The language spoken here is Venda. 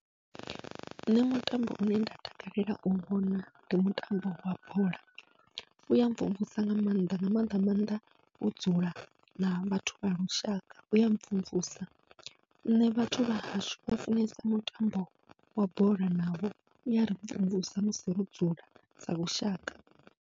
Nṋe mutambo une nda takalela u vhona ndi mutambo wa bola, uya mvumvusa nga maanḓa nga maanḓa maanḓa wo dzula na vhathu vha lushaka uya mvumvusa, nṋe vhathu vha hashu vha funesa mutambo wa bola navho u yari mvumvusa musi ro dzula sa lushaka.